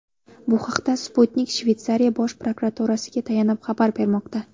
Bu haqda Sputnik Shveysariya Bosh prokuraturasiga tayanib xabar bermoqda .